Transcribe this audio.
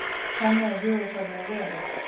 Þannig á hugarfarið að vera.